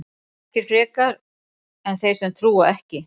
Ekki frekar en þeir sem trúa ekki.